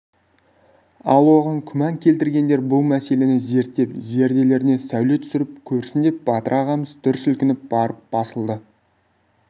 ал оған күмән келтіргендер бұл мәселені зерттеп зерделеріне сәуле түсіріп көрсін деп батыр ағамыз дүр сілкініп барып басылды